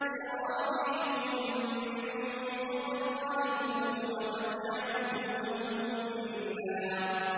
سَرَابِيلُهُم مِّن قَطِرَانٍ وَتَغْشَىٰ وُجُوهَهُمُ النَّارُ